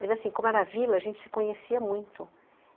Mas assim, como era vila, a gente se conhecia muito.